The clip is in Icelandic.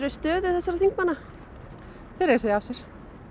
stöðu þessara þingmanna þeir eiga að segja af sér